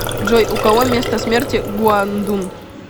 джой у кого место смерти гуандун